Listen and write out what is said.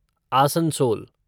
Asansol